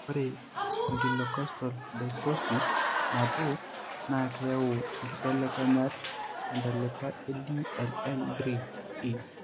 Ore eSpondylocostal dysostosis nabo, naa keyau inkibelekenyat tentalipa eDLL3e.